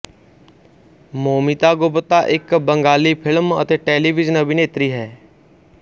ਮੌਮੀਤਾ ਗੁਪਤਾ ਇਕ ਬੰਗਾਲੀ ਫਿਲਮ ਅਤੇ ਟੈਲੀਵਿਜ਼ਨ ਅਭਿਨੇਤਰੀ ਹੈ